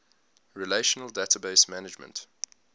relational database management